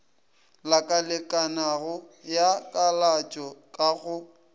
lakalekanago ya kalatšo ka go